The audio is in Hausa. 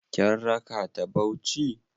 Kin raka ta Bauchi?